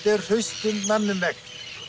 er hraustum manni um megn